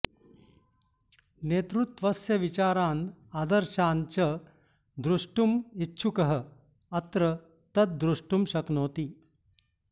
नेतृत्वस्य विचारान् आदर्शान् च दृष्टुम इच्छुकः अत्र तद् दृष्टुं शक्नोति